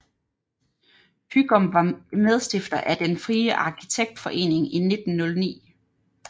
Hygom var medstifter af Den frie Architektforening i 1909